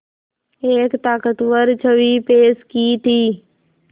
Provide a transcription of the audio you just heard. एक ताक़तवर छवि पेश की थी